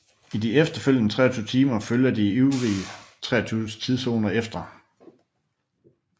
I de følgende 23 timer følger de øvrige 23 tidszoner efter